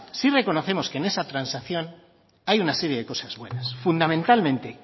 sí reconocemos que en esa transacción hay una serie de cosas buenas fundamentalmente